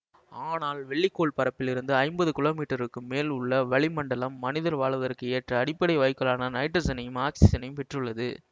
ஆனால் வெள்ளி கோள் பரப்பில் இருந்து ஐம்பது கிலோமீட்டர்களுக்கு மேல் உள்ள வளி மண்டலம் மனிதர் வாழ்வதற்கு ஏற்ற அடிப்படை வாயுக்களான நைட்ரசனையும் ஆக்சிசனையும் பெற்றுள்ளது